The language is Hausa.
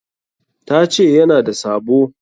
Ta ce ya na da sabo.